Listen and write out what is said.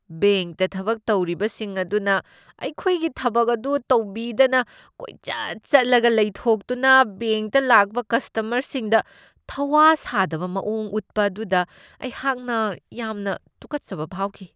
ꯕꯦꯡꯛꯇ ꯊꯕꯛ ꯇꯧꯔꯤꯕꯁꯤꯡ ꯑꯗꯨꯅ ꯑꯩꯈꯣꯏꯒꯤ ꯊꯕꯛ ꯑꯗꯨ ꯇꯧꯕꯤꯗꯅ ꯀꯣꯏꯆꯠ ꯆꯠꯂꯒ ꯂꯩꯊꯣꯛꯇꯨꯅ ꯕꯦꯡꯛꯇ ꯂꯥꯛꯄ ꯀꯁꯇꯃꯔꯁꯤꯡꯗ ꯊꯧꯋꯥ ꯁꯥꯗꯕ ꯃꯑꯣꯡ ꯎꯠꯄ ꯑꯗꯨꯗ ꯑꯩꯍꯥꯛꯅ ꯌꯥꯝꯅ ꯇꯨꯀꯠꯆꯕ ꯐꯥꯎꯈꯤ ꯫